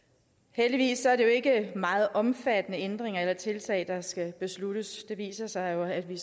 heldigvis er det jo ikke meget omfattende ændringer eller tiltag der skal besluttes det viser sig jo at vi